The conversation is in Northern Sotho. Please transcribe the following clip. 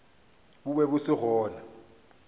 bo be bo se gona